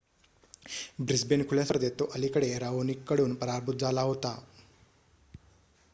Brisbane खुल्या स्पर्धेत तो अलिकडे राओनिककडून पराभूत झाला होता